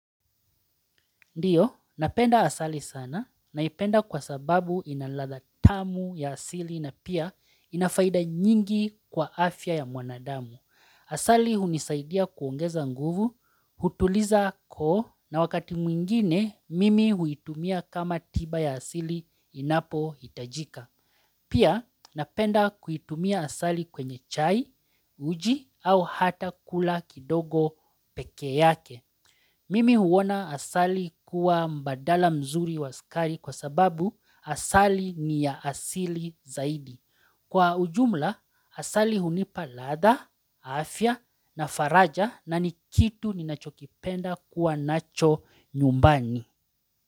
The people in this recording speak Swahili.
Ndiyo, napenda asali sana naipenda kwa sababu ina ladha tamu ya asili na pia ina faida nyingi kwa afya ya mwanadamu. Asali hunisaidia kuongeza nguvu, kutuliza koo na wakati mwingine mimi huitumia kama tiba ya asili inapohitajika. Pia napenda kuitumia asali kwenye chai, uji au hata kula kidogo peke yake. Mimi huona asali kuwa mbadala mzuri wa sukari kwa sababu asali ni ya asili zaidi. Kwa ujumla asali hunipa ladha, afya na faraja na ni kitu ninachokipenda kuwa nacho nyumbani.